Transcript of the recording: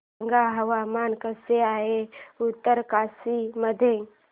सांगा हवामान कसे आहे उत्तरकाशी मध्ये